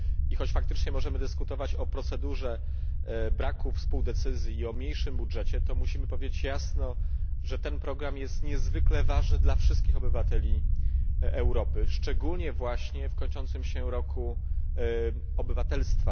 I choć faktycznie możemy dyskutować o procedurze braku współdecyzji i o mniejszym budżecie, to musimy powiedzieć jasno, że ten program jest niezwykle ważny dla wszystkich obywateli Europy, szczególnie właśnie w kończącym się Roku Obywatelstwa.